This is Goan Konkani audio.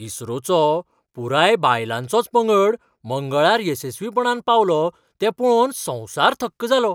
इस्रोचो पुराय बायलांचोच पंगड मंगळार येसस्वीपणान पावलो तें पळोवन संवसार थक्क जालो.